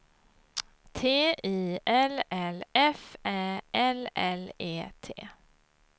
T I L L F Ä L L E T